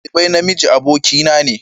Shugaban dalibai na miji abokin na ne